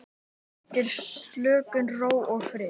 Veitir slökun, ró og frið.